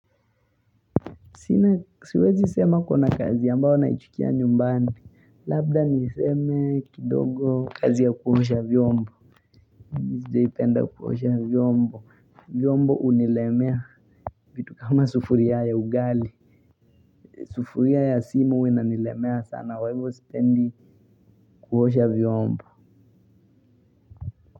Sina siwezi sema kuna kazi ambayo naichukia nyumbani. Labda niseme kidogo kazi ya kuosha vyombo sijaipenda kuosha vyombo. Vyombo hunilemea vitu kama sufuria ya ugali. Sufuria ya sima huwa inanilemea sana kwa hivo sipendi kuosha vyombo.